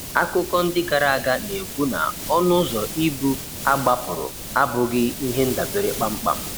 Akụkọ ndị gara aga na-ekwu na ọnụ ụzọ ibu a gbapụrụ abụghị ihe ndabere kpamkpam.